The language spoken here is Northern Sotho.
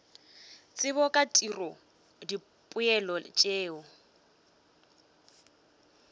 tsebo ka tiro dipoelo tšeo